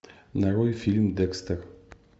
нарой фильм декстер